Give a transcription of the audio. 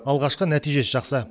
алғашқы нәтижесі жақсы